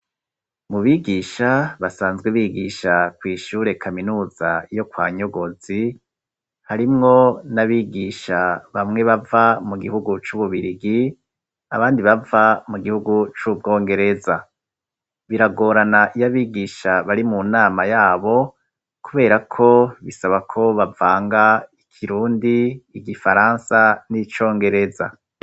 Mu bigisha basanzwe bigisha kw'ishure kaminuza yo kwa Nyogozi harimwo n'abigisha bamwe bava mu gihugu c'Ububirigi abandi bava mu gihugu c'Ubwongereza. Biragorana iyo abigisha bari mu nama yabo kubera ko bisaba ko bavanga ikirundi, igifaransa n'icongereza